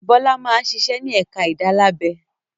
Bọ́lá máa ń ṣiṣẹ́ ní ẹ̀ka ìdálábẹ.